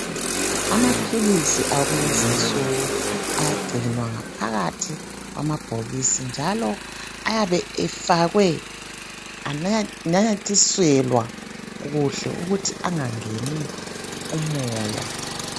Amaphilisi akulezi insuku agcinwa ngaphakathi kwamabhokisi njalo ayabe efakwe ananyathiselwa kuhle ukuthi angangeni umoya .